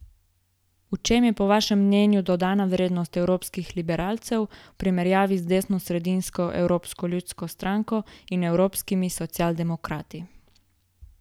V čem je po vašem mnenju dodana vrednost evropskih liberalcev v primerjavi z desnosredinsko Evropsko ljudsko stranko in evropskimi socialdemokrati?